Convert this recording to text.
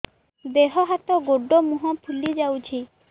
ଦେହ ହାତ ଗୋଡୋ ମୁହଁ ଫୁଲି ଯାଉଛି